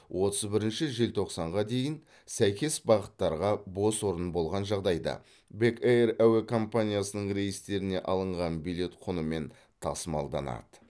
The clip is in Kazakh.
отыз бірінші желтоқсанға дейін сәйкес бағыттарға бос орын болған жағдайда бек эйр әуе компаниясының рейстеріне алынған билет құнымен тасымалданады